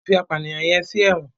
wón tí fí apànìyàn yén sí èwòn.